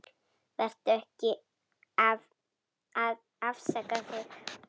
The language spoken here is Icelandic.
Vertu ekki að afsaka þig.